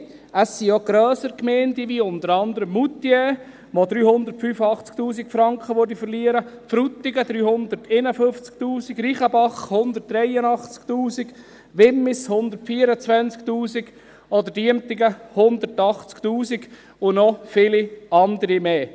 Nein: Es sind auch grössere Gemeinden betroffen, unter anderen Moutier, das 385 000 Franken verlieren würde, Frutigen, 351 000 Franken, Reichenbach, 183 000 Franken, Wimmis, 124 000 Franken, oder Diemtigen, 180 000 Franken, und noch viele andere mehr.